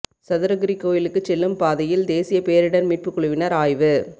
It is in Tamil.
சதுரகிரி கோயிலுக்குச் செல்லும் பாதையில் தேசிய பேரிடா் மீட்புக் குழுவினா் ஆய்வு